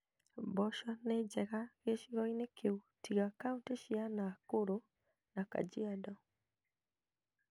Mboco nĩnjega gĩcigo-inĩ kĩu tiga kauntĩ cia Nakuru na Kajiado